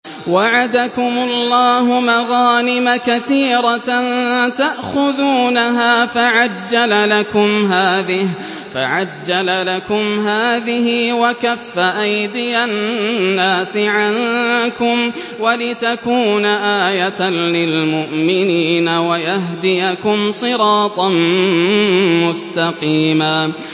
وَعَدَكُمُ اللَّهُ مَغَانِمَ كَثِيرَةً تَأْخُذُونَهَا فَعَجَّلَ لَكُمْ هَٰذِهِ وَكَفَّ أَيْدِيَ النَّاسِ عَنكُمْ وَلِتَكُونَ آيَةً لِّلْمُؤْمِنِينَ وَيَهْدِيَكُمْ صِرَاطًا مُّسْتَقِيمًا